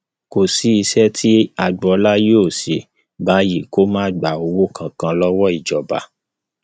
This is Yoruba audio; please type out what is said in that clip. kò sí iṣẹ tí agboola yóò ṣe báyìí kó má gba owó kankan lọwọ ìjọba